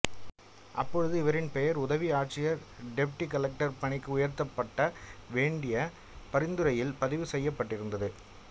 அப்பொழுது இவரின் பெயர் உதவி ஆட்சியர்டெபுட்டி கலெக்டர்பணிக்கு உயர்த்தப்பட வேண்டிய பரிந்துரையில் பதிவு செய்யப்பட்டிருந்தது